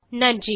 நன்றி